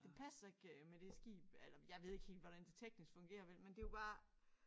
Det passer ikke øh med det skib eller jeg ved ikke helt hvordan det teknisk fungerer vel men det jo bare